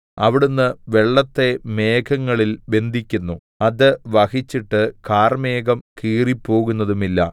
അവിടുന്ന് വെള്ളത്തെ മേഘങ്ങളിൽ ബന്ധിക്കുന്നു അത് വഹിച്ചിട്ട് കാർമേഘം കീറിപ്പോകുന്നതുമില്ല